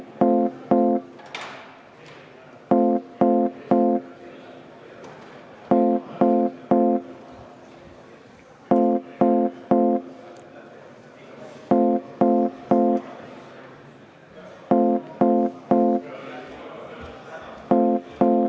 Palun seda muudatusettepanekut hääletada!